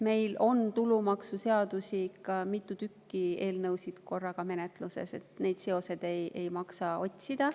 Meil on tulumaksuseaduse eelnõusid korraga mitu menetluses, nii et neid seoseid ei maksa otsida.